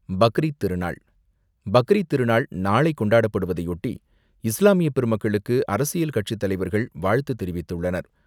பக்ரீத் திருநாள் பக்ரீத் திருநாள் நாளை கொண்டாடப்படுவதையொட்டி, இஸ்லாமிய பெருமக்களுக்கு அரசியல் கட்சித்தலைவர்கள் வாழ்த்து தெரிவித்துள்ளனர்.